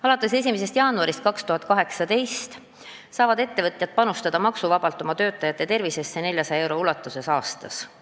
Alates 1. jaanuarist 2018 saavad ettevõtjad maksuvabalt oma töötajate tervisesse panustada 400 eurot aastas.